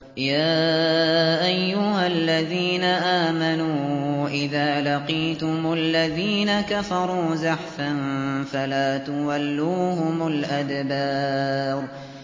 يَا أَيُّهَا الَّذِينَ آمَنُوا إِذَا لَقِيتُمُ الَّذِينَ كَفَرُوا زَحْفًا فَلَا تُوَلُّوهُمُ الْأَدْبَارَ